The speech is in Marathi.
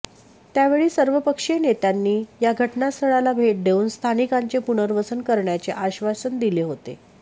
त्यावेळी सर्वपक्षीय नेत्यांनी या घटनास्थळाला भेट देऊन स्थानिकांचे पुनर्वसन करण्याचे आश्वासन दिले होते